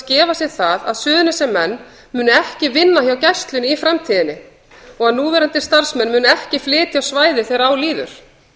gefa sér það að suðurnesjamenn muni ekki vinna hjá gæslunni í framtíðinni og að núverandi starfsmenn muni ekki flytja á svæðið þegar á líður